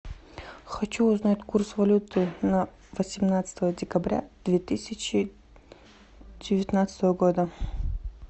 хочу узнать курс валюты на восемнадцатое декабря две тысячи девятнадцатого года